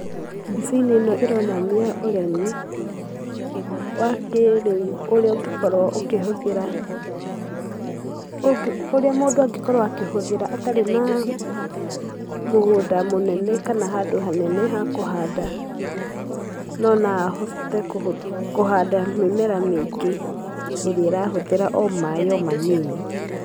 Mbica-inĩ ĩno ĩronania ũrĩmi wa kĩĩriu ũrĩa ũngĩkorũo ukĩhũthĩra, ũrĩa mũndũ angĩkorũo akĩhũthĩra atarĩ na mũgunda mũnene kana handũ hanene ha kũhanda, no na ahote kũhanda mĩmera mĩingi ĩrĩa ĩrahũthĩra o maĩ o manini.